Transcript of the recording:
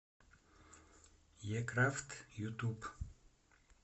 е крафт ютуб